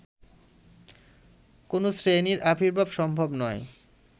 কোনো শ্রেণীর আবির্ভাবও সম্ভব নয়